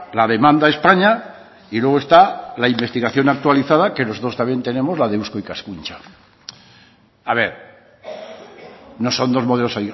la demanda españa y luego está la investigación actualizada que nosotros también tenemos la de eusko ikaskuntza a ver no son dos modelos